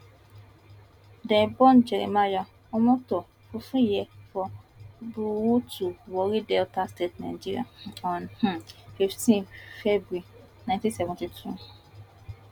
dem born jeremiah omoto fufeyin for burutu warri delta state nigeria on um fifteen february ninety seventy two